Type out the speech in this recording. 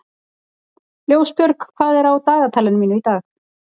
Ljósbjörg, hvað er á dagatalinu mínu í dag?